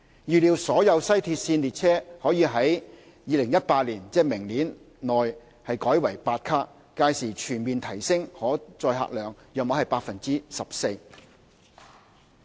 預計所有西鐵線列車可於2018年，即明年內改為8卡，屆時全面提升可載客量約 14%。